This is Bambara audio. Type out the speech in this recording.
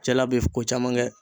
Cɛla be ko caman kɛ.